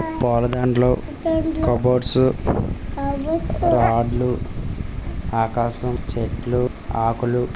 పూల దండలు కబోర్డ్స్ రాడ్లు ఆకాశం ఆకులు చెట్లు ఆకులు.